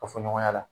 Ka fɔ ɲɔgɔn la